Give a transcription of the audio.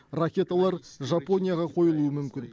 ракеталар жапонияға қойылуы мүмкін